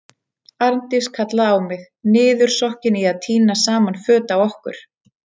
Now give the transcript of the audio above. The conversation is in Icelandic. Arndís kallaði á mig, niðursokkin í að tína saman föt á okkur.